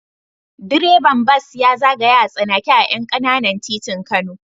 Direban bas ya zagaya a tsanake a ƴan ƙananan titin Kano.